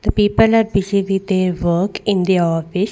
The people are visit their work in the office.